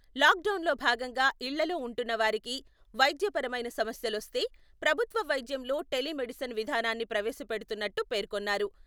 lock డౌన్లో భాగంగా ఇళ్లలో ఉంటున్నవారికి వైద్యపరమైన సమస్యలొస్తే..ప్రభుత్వ వైద్యంలో టెలీమెడిసిన్ విధానాన్ని ప్రవేశపెడుతున్నట్టు పేర్కొన్నారు..